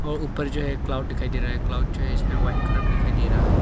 ऊपर जो है क्लाउड दिखाई दे रहा है क्लाउड जो है इसमें व्हाइट कलर मे दिखाई दे रहा है।